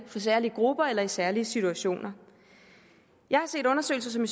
særlige grupper eller i særlige situationer jeg har set undersøgelser som